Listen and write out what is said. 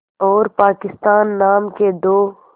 और पाकिस्तान नाम के दो